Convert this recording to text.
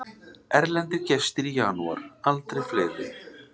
Erlendir gestir í janúar aldrei fleiri